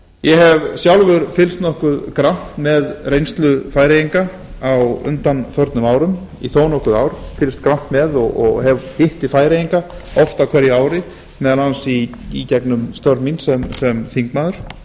ég hef sjálfur fylgst nokkuð grannt með reynslu færeyinga í þó nokkur ár og hitti færeyinga oft á hverju ári meðal annars í gegnum störf mín sem þingmaður